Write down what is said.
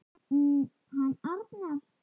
Um hann Arnar.